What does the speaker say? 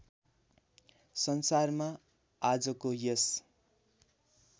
संसारमा आजको यस